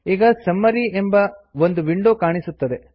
ಈಗ summary summary ಎಂಬ ಒಂದು ವಿಂಡೋ ಕಾಣಿಸುತ್ತದೆ